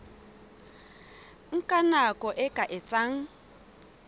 nka nako e ka etsang